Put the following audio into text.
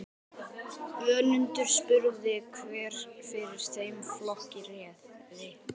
Önundur spurði hver fyrir þeim flokki réði.